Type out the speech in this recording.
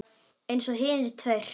Eins og hinir tveir.